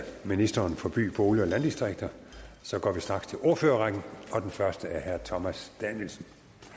ministeren for by bolig og landdistrikter går vi straks til ordførerrækken og den første er herre thomas danielsen